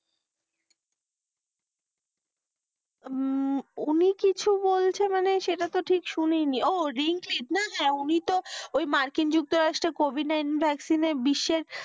হম উনি কিছু বলছে মানে সেটা তো ঠিক শুনিনি ও, রিঙ্কিন হ্যাঁ, উনি তো ওই মার্কিন যুক্তরাষ্ট্রের এর COVID nineteen ভ্যাকসিনের বিশ্বের,